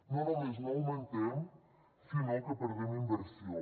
no només no augmentem sinó que perdem inversió